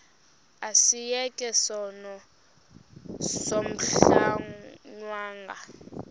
asiyeke sono smgohlwaywanga